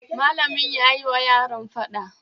Malamin yayi wa yaran faɗa